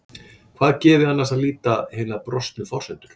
Hvar gefi annars að líta hinar brostnu forsendur?